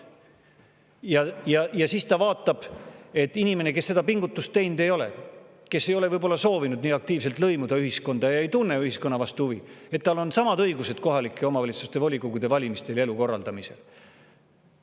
Ja siis vaatab, et inimesel, kes seda pingutust teinud ei ole, kes ei ole võib-olla soovinud nii aktiivselt lõimuda ühiskonda ja ei tunne ühiskonna vastu huvi, on samad õigused kohaliku omavalitsuse volikogu valimisel ja elu korraldamisel.